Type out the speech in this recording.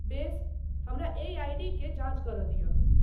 बेस, हमरा एहि आइ.डी.क जाञ्च करय दिअ।